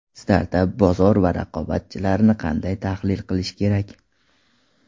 Startap bozor va raqobatchilarni qanday tahlil qilishi kerak?.